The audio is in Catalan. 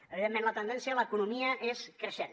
evidentment la tendència a l’economia és creixent